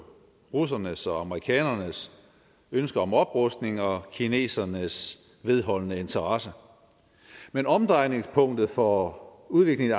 russernes og amerikanernes ønske om oprustning og kinesernes vedholdende interesse men omdrejningspunktet for udviklingen